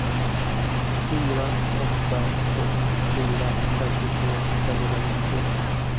fyra åtta två fyra femtiotre femhundranittiosju